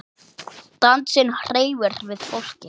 Dansinn hreyfir við fólki.